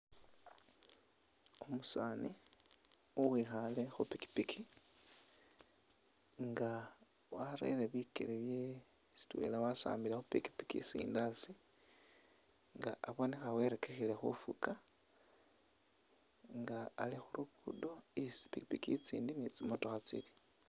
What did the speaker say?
Umusani uwikhale khupikipiki nga arele bikele bye sitwela wasambile khupikipiki sindi haasi nga abonekha werekhekele khufuka nga ali khulugudo isi tsipikipiki tsindi ni tsimotokha tsili.